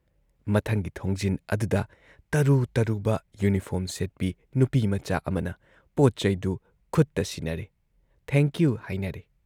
ꯃꯊꯪꯒꯤ ꯊꯣꯡꯖꯤꯟ ꯑꯗꯨꯗ ꯇꯔꯨ ꯇꯔꯨꯕ ꯌꯨꯅꯤꯐꯣꯔꯝ ꯁꯦꯠꯄꯤ ꯅꯨꯄꯤꯃꯆꯥ ꯑꯃꯅ ꯄꯣꯠ-ꯆꯩꯗꯨ ꯈꯨꯠꯇ ꯁꯤꯟꯅꯔꯦ, ꯊꯦꯡꯛ ꯌꯨ ꯍꯥꯏꯅꯔꯦ ꯫